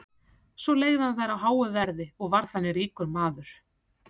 Svo leigði hann þær út á háu verði og varð þannig ríkur maður.